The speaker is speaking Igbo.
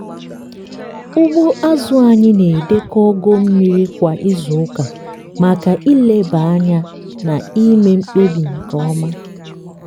ugbo azụ anyị na-edekọ ogo mmiri kwa izuụka maka nleba anya na ime mkpebi nke ọma.